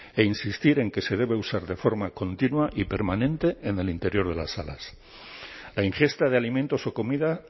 e insistir en que se debe usar de forma continua y permanente en el interior de las salas la ingesta de alimentos o comida